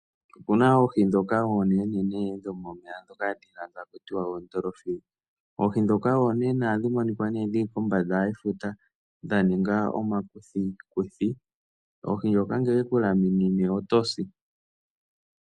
Opena oohi dhoka oonene dhomomeya dhoka hadhi ithanwa oDolphin. Oohi dhoka oonene ohadhi monika dhili kombanda yefuta dhaninga omakuthikuthi. Oohi dhoka ngeke odheku laminine otosi.